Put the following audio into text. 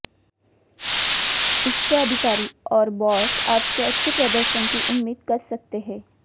उच्च अधिकारी और बॉस आपसे अच्छे प्रदर्शन की उम्मीद कर सकते हैं